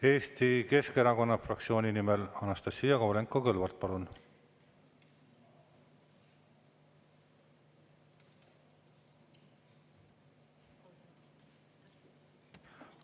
Eesti Keskerakonna fraktsiooni nimel Anastassia Kovalenko-Kõlvart, palun!